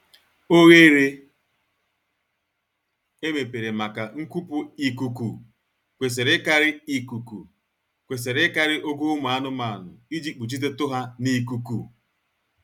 Oghere emepere maka nkupu ikuku kwesịrị ịkarị ikuku kwesịrị ịkarị ogo ụmụ anụmanụ iji kpuchitetu ha n'ikuku